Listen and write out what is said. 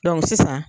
sisan